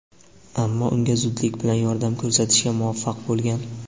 ammo unga zudlik bilan yordam ko‘rsatishga muvaffaq bo‘lgan.